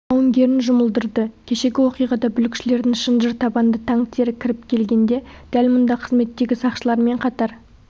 жауынгерін жұмылдырды кешегі оқиғада бүлікшілердің шынжыр табанды танктері кіріп келгенде дәл мұнда қызметтегі сақшылармен қатар